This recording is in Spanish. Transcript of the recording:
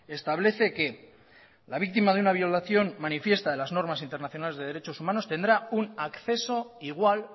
establece que la víctima de una violación manifiesta de las normas internacionales de derechos humanos tendrá un acceso igual